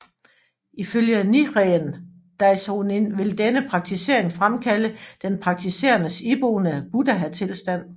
Ifølge Nichiren Daishonin vil denne praktisering fremkalde den praktiserendes iboende buddhatilstand